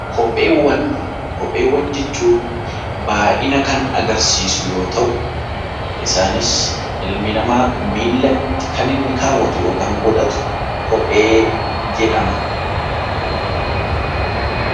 Kopheewwan Kopheewwan jechuun baayyina kan agarsiisan yoo ta'u, isaanis ilmi namaa miila irratti kan kaawwatu yookaan godhatu kophee jedhama.